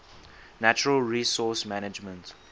natural resource management